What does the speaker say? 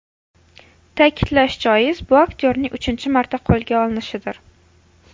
Ta’kidlash joiz, bu aktyorning uchinchi marta qo‘lga olinishidir.